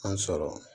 An sɔrɔ